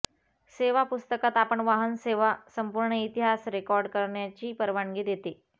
सेवा पुस्तकात आपण वाहन सेवा संपूर्ण इतिहास रेकॉर्ड करण्याची परवानगी देते